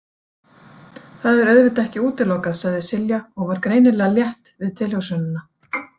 Það er auðvitað ekki útilokað, sagði Silja og var greinilega létt við tilhugsunina.